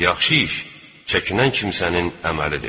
Yaxşı iş çəkinən kimsənin əməlidir.